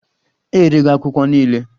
Erego akwụkwọ niile.